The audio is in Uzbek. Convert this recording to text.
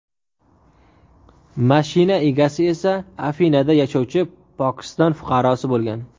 Mashina egasi esa Afinada yashovchi Pokiston fuqarosi bo‘lgan.